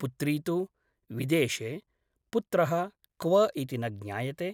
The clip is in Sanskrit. पुत्री तु विदेशे । पुत्रः क्व इति न ज्ञायते ।